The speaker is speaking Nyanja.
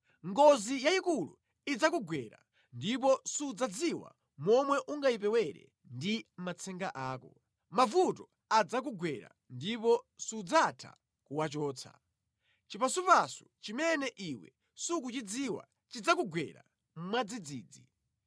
Ngozi yayikulu idzakugwera ndipo sudzadziwa momwe ungayipewere ndi matsenga ako. Mavuto adzakugwera ndipo sudzatha kuwachotsa; chipasupasu chimene iwe sukuchidziwa chidzakugwera mwadzidzidzi.